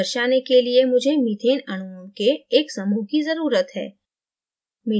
दर्शाने के लिए मुझे methaneअणुओं के एक समूह की जरुरत है